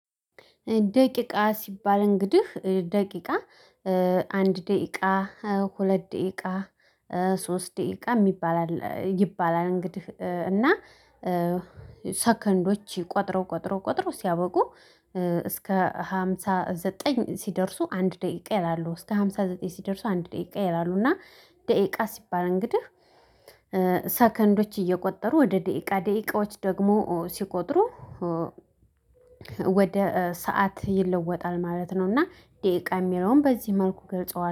ደቂቃ ሲባል እንግዲህ ደቂቃ አንድ ደቂቃ ሁለት ደቂቃ ሶስት ደቂቃ ሚባላል ይባላል እንግዲህ እና ሰከንዶች ቆጥረው ቆጥረው ቆጥረው ሲያበቁ። እስከ ሃምሳ ዘጠኝ ሲደርሱ አንድ ደቂቃ ይላሉ እስከ ሃምሳ ዘጠኝ ሲደርሱ አንድ ደቂቃ ይላሉ እና ደቂቃ ሲባል እንግዲህ ሰከንዶች እየቆጠሩ ወደ ደቂቃ ደቂቃዎች ደግሞ ሲቆጥሩ። ወደ ሰዓት ይለወጣል ማለት ነው። እና ደቂቃ ሚለውን በዚህ መልኩ ገልጸዋል